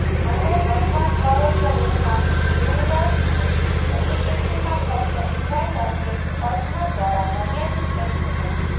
અને વસવાટ કરો છો રૂમમાં મિરર્સની એપ્લિકેશનમાં ફક્ત ડિઝાઇનરની કલ્પના દ્વારા મર્યાદિત કરી શકાય છે